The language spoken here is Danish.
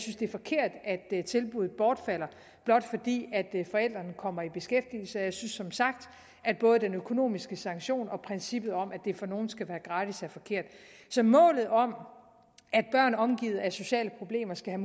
det er forkert at tilbuddet bortfalder blot fordi forældrene kommer i beskæftigelse jeg synes som sagt at både den økonomiske sanktion og princippet om at det for nogle skal være gratis er forkert så målet om at børn omgivet af sociale problemer skal